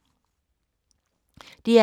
DR K